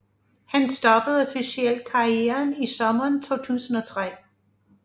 Han stoppede officielt karrieren i sommeren 2003